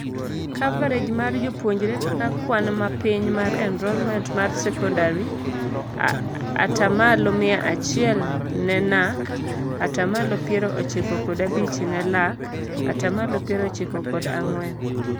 Coverage mar jopuonjre kaka kwan mapiny mar enrollment mar secondary :Ataa malo mia achiel ne NAC; Ataa malo piero ochiko kod abich ne LAC ; Ataa malo piero ochiko kod ang'wen .